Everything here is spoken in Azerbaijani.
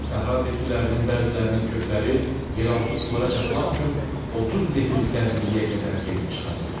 Səhra bitkilərinin bəzilərinin kökləri yeraltı sulara çatmaq üçün 30 metr dərinliyə qədər gedib çıxa bilir.